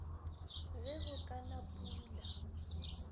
ge go ka na pula